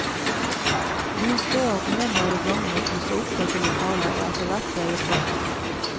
Vi så at noen var i gang med å pusse opp dette lokalet, og etterhvert ble det pub.